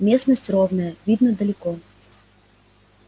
местность ровная видно далеко